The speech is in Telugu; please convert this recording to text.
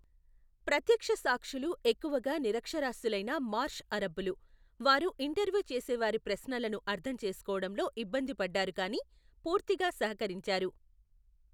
ప్రత్యక్ష సాక్షులు ఎక్కువగా నిరక్షరాస్యులైన మార్ష్ అరబ్బులు, వారు ఇంటర్వ్యూ చేసేవారి ప్రశ్నలను అర్థం చేసుకోవడంలో ఇబ్బంది పడ్డారు కానీ పూర్తిగా సహకరించారు.